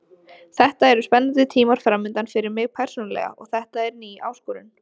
Þetta eru spennandi tímar framundan fyrir mig persónulega og þetta er ný áskorun.